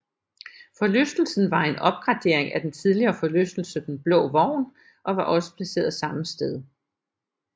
Forlystelsen var en opgradering af den tidligere forlystelse Den Blå Vogn og var også placeret samme sted